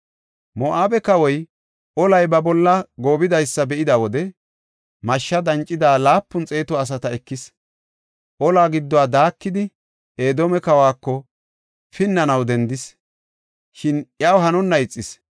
Moo7abe kawoy olay ba bolla goobidaysa be7ida wode mashsha dancida laapun xeetu asata ekis. Ola gidduwa daakidi, Edoome kawako pinnanaw dendis; shin iyaw hanonna ixis.